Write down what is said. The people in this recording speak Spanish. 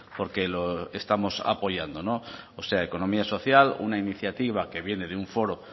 porque lo estamos apoyando no o sea economía social una iniciativa que viene de un foro